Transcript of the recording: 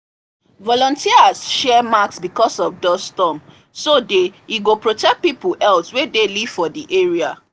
volunteers share mask because of dust storm so day e go protect people health wey dey live for the area